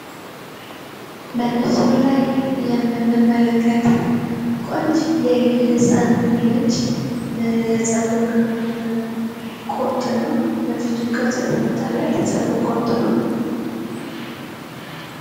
በምስሉ ላይ የምንመለከተው ቆንጅየ ህጻን ልጅ የጸጉር ቁርጥ ነው። በፊቱ ቅርጽ የተወጣለት የጸጉር ቅርጽ ነው።